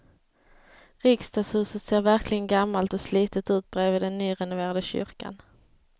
Riksdagshuset ser verkligen gammalt och slitet ut bredvid den nyrenoverade kyrkan.